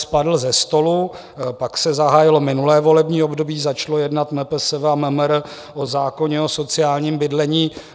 Spadl ze stolu, pak se zahájilo minulé volební období, začalo jednat MPSV a MMR o zákoně o sociálním bydlení.